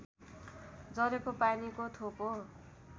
झरेको पानीको थोपो